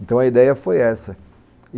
Então a ideia foi essa.